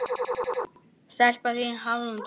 Stelpan þín, Hafrún Dóra.